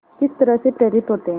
किस तरह से प्रेरित होते हैं